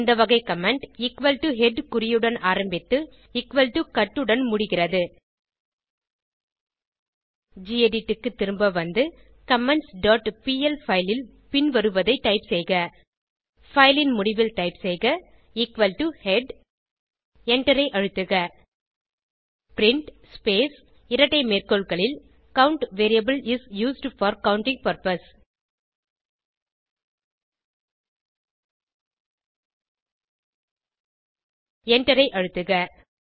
இந்த வகை comment equal to head குறியுடன் ஆரம்பித்து எக்குவல் டோ கட் உடன் முடிகிறது கெடிட் க்கு திரும்ப வந்து கமெண்ட்ஸ் டாட் பிஎல் பைல் ல் பின்வருவதை டைப் செய்க பைல் ன் முடிவில் டைப் செய்க எக்குவல் டோ ஹெட் எண்டரை அழுத்துக பிரின்ட் ஸ்பேஸ் இரட்டை மேற்கோள்களில் count variable is used for counting purpose எண்டரை அழுத்துக